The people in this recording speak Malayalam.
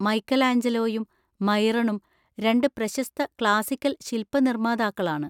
മൈക്കെലാഞ്ജലോയും മൈറണും രണ്ട് പ്രശസ്ത ക്ലാസ്സിക്കൽ ശില്പനിർമാതാക്കളാണ്.